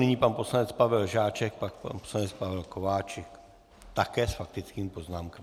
Nyní pan poslanec Pavel Žáček, pak pan poslanec Pavel Kováčik, také s faktickými poznámkami.